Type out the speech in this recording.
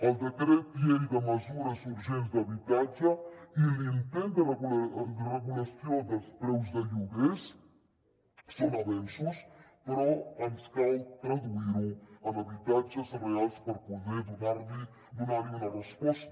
el decret llei de mesures urgents d’habitatge i l’intent de regulació dels preus dels lloguers són avenços però ens cal traduir ho en habitatges reals per poder donar hi una resposta